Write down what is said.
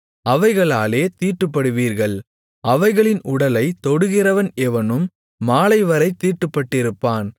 அவைகளாலே தீட்டுப்படுவீர்கள் அவைகளின் உடலைத் தொடுகிறவன் எவனும் மாலைவரைத் தீட்டுப்பட்டிருப்பான்